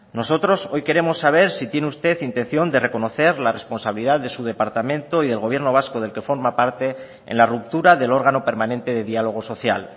nosotros hoy queremos saber si tiene usted intención de reconocer la responsabilidad de su departamento y del gobierno vasco del que forma parte en la ruptura del órgano permanente de diálogo social